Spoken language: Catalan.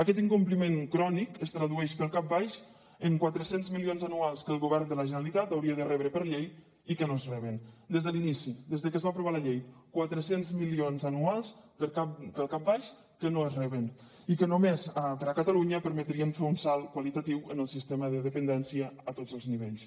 aquest incompliment crònic es tradueix pel cap baix en quatre cents milions anuals que el govern de la generalitat hauria de rebre per llei i que no es reben des de l’inici des de que es va aprovar la llei quatre cents milions anuals pel cap baix que no es reben i que només per a catalunya permetrien fer un salt qualitatiu en el sistema de dependència a tots els nivells